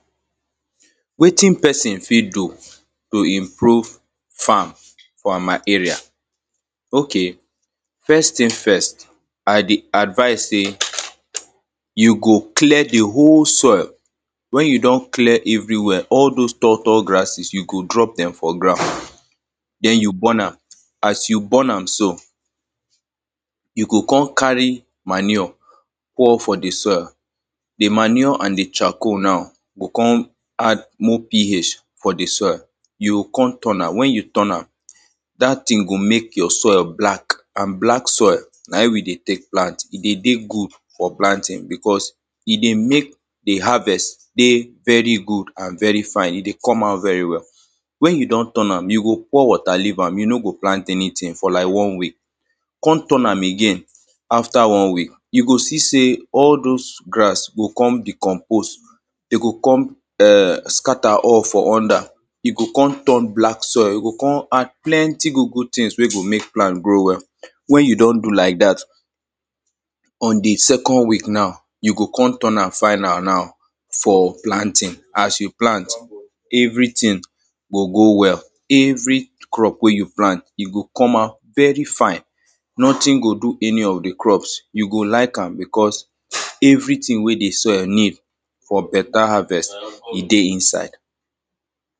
Wetin person fit do to improve farm for my area? Okay, first thing first, I dey advise say you go clear the whole soil. When you don clear everywhere, all those tall, tall grasses, you go drop them for ground. Then, you burn am. As you burn am so, you go come carry manure pour for the soil. The manure and the charcoal now go come add more PH for the soil. You go come turn am. When you turn am, dat thing go mek your soil black and black soil na im we dey tek plant, e dey dey good for planting because e dey mek the harvest dey very good and very fine. E dey come out very well. When you don turn am, you go pour water leave am, you no go plant anything, for lak one week. Come turn again after one week, you go see say all those grass go come recompose You go come ehscatter all for under. You go come turn black soil, you go come add plenty good, good things wey go mek plant grow well. When you don do lak dat, on the second week now, you go come turn am final now, for planting. As you plant, everything go grow well. Every crop wey you plant, e go come out very fine. Nothing go do any of the crops. You go lak am because everything wey the soil need for beta harvest, e dey inside.